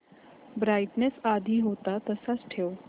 brightness आधी होता तसाच ठेव